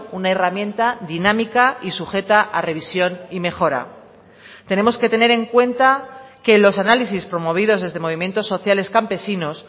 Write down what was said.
una herramienta dinámica y sujeta a revisión y mejora tenemos que tener en cuenta que los análisis promovidos desde movimientos sociales campesinos